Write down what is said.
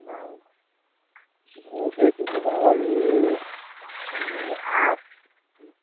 মোৰটো এইটো mobile এ আঠ